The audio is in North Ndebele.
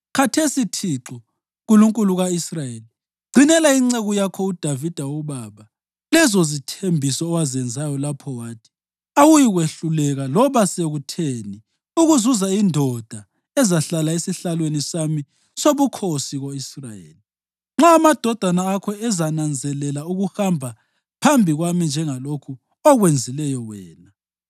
Khathesi Thixo, Nkulunkulu ka-Israyeli, gcinela inceku yakho uDavida ubaba lezozithembiso owazenzayo lapho wathi, ‘Awuyikwehluleka loba sekutheni ukuzuza indoda ezahlala esihlalweni sami sobukhosi ko-Israyeli, nxa amadodana akho ezananzelela ukuhamba phambi kwami njengalokhu okwenzileyo wena.’